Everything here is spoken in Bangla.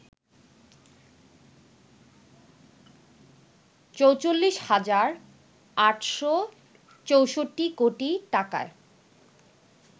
৪৪ হাজার ৮৬৪ কোটি টাকার